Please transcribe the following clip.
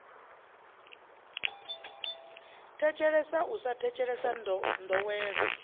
thetshelesa u sa thetshelesa ndowelo